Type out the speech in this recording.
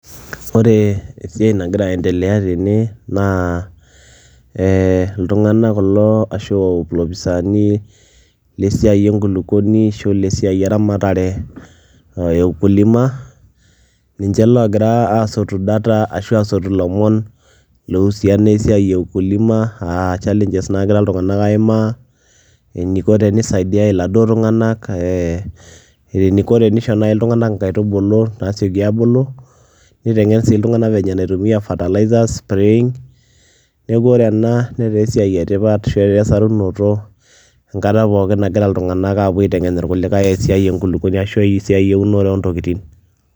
Ore esiiai nagira aendelea tene na e ltunganak kulo ashu lopisani lenkulukuoni egira adol esiai eramatare ninche lagira asotu data ashu asotu lomon oihusiana esiai e ukulima aa challenges nagira ltunganak aimaa, eniko ltunganak nisaidiai laduo tunganak, eniko nai teneisho laduo tunganak nkaitubulu nasieki abuku, nitengen si ltunganak venye naitumiaa fertiliser ,ore ena nataa esiai etipat ataa esarunoto enkata pookin nagira ltunganak apuo aitengen ltunganak esiai enkulukuoni ashu eunore ontokitin.